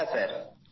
হ্যাঁ স্যার